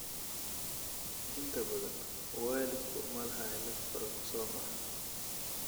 Inta badan, waalidku ma laha cillad koromosoom ah.